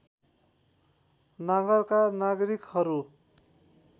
नगरका नागरिकहरू